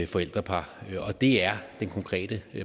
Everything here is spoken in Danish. forældrepar og det er den konkrete